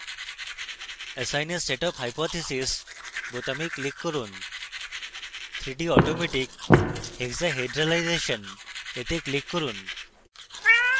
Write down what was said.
assign a set of hypotheses বোতামে click করুন 3d: automatic hexahedralization a click করুন